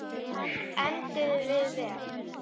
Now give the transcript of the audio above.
Enduðum við vel?